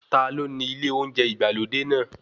Ta ló ni ilé oúnjẹ ìgbàlódé náà?